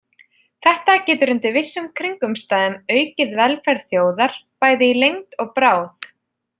Þetta getur undir vissum kringumstæðum aukið velferð þjóðar, bæði í lengd og bráð.